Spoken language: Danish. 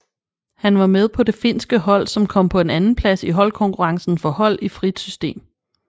Han var med på det finske hold som kom på en andenplads i holdkonkurrencen for hold i frit system